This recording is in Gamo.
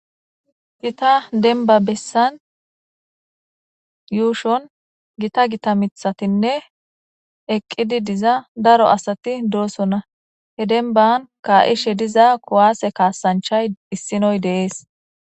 Gita deniba besan ushowan gita gita mithatine eqizi diza daro asati do'sona he deniban ka'ishe diza ku'ase kasanichay issinoy de'es